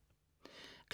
06.05